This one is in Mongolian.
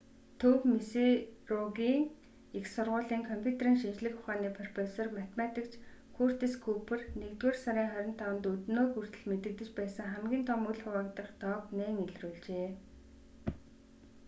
төв миссуригийн их сургуулийн компьютерийн шинжлэх ухааны профессор математикч куртис күүпер нэгдүгээр сарын 25-нд өнөөг хүртэл мэдэгдэж байсан хамгийн том үл хуваагдах тоог нээн илрүүлжээ